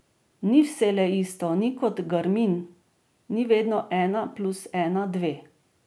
Ni vselej isto, ni kot garmin, ni vedno ena plus ena dve.